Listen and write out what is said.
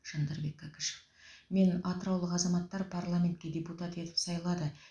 жандарбек кәкішев мені атыраулық азаматтар парламентке депутат етіп сайлады